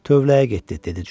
Tövləyə getdi, dedi Corc.